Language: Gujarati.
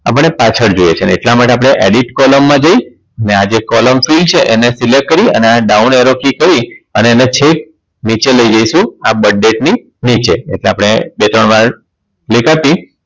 આપણે પાછળ જોવે છે અને એટલા માટે આપણે Edit column માં જઈ ને આજે column field છે એને Select કરી અને down arrow key કરી અને એને છેક નીચે લઈ જાશું આ Birth date ની નીચે એટલે આપણે બે ત્રણ વાર click આપી